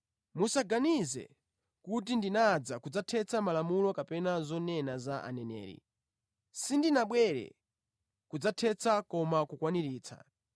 “Musaganize kuti ndinadza kudzathetsa malamulo kapena zonena za aneneri; sindinabwere kudzathetsa koma kukwaniritsa.